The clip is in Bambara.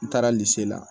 N taara la